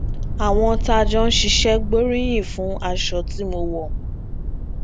àwọn tá a jọ ń ṣiṣé gbóríyìn fún aṣọ tí mo wò